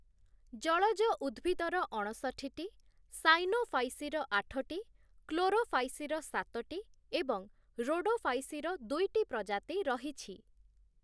ଜଳଜ ଉଦ୍ଭିଦର ଅଣଷଠିଟି, ସାଇନୋଫାଇସିର ଆଠଟି, କ୍ଲୋରୋଫାଇସିର ସାତଟି ଏବଂ ରୋଡୋଫାଇସିର ଦୁଇଟି ପ୍ରଜାତି ରହିଛି ।